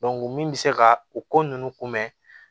min bɛ se ka o ko ninnu kunbɛn